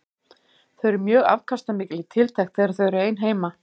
Þau eru mjög afkastamikil í tiltekt þegar þau eru ein heima.